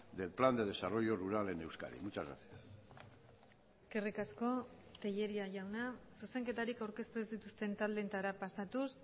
del plan de desarrollo rural en euskadi muchas gracias eskerrik asko telleria jauna zuzenketarik aurkeztu ez dituzten taldeetara pasatuz